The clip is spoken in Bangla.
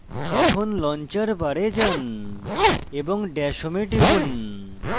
এখন launcher bar যান এবং dash home এ টিপুন